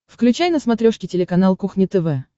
включай на смотрешке телеканал кухня тв